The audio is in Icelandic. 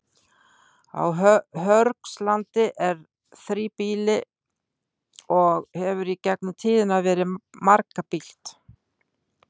Á Hörgslandi er þríbýli og hefur í gegnum tíðina verið margbýlt.